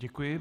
Děkuji.